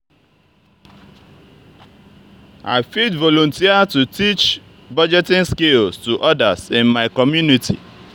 i fit volunteer to teach budgeting skills to others in my community.